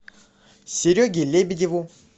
сереге лебедеву